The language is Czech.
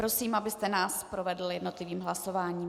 Prosím, abyste nás provedl jednotlivým hlasováním.